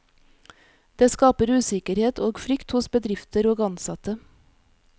Det skaper usikkerhet og frykt hos bedrifter og ansatte.